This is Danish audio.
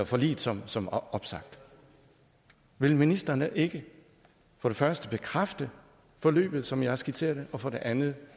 forliget som som opsagt vil ministeren ikke for det første bekræfte forløbet som jeg har skitseret det og for det andet